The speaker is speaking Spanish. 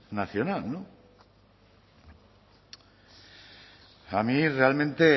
nacional a mí realmente